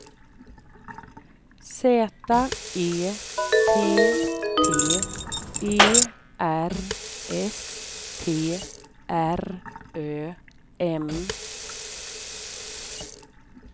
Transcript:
Z E T T E R S T R Ö M